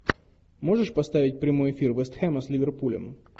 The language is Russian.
можешь поставить прямой эфир вест хэма с ливерпулем